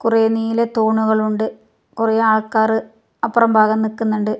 കുറേ നീല തൂണുകളുണ്ട് കുറേ ആൾക്കാറ് അപ്പുറം ഭാഗം നിക്കുന്നുണ്ട്.